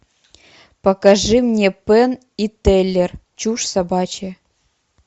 покажи мне пенн и теллер чушь собачья